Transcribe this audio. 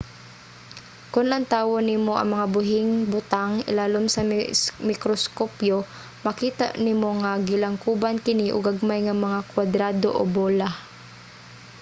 kon lantawon nimo ang mga buhing butang ilalom sa mikroskopyo makita nimo nga gilangkoban kini og gagmay nga mga kuwadrado o bola